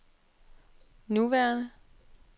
nuværende